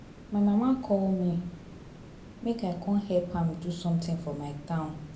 My mama call me make I come help am do something for my town